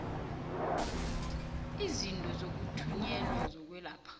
izinto zokuthunyelwa zokwelapha